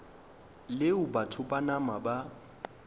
leo batho ba nama ba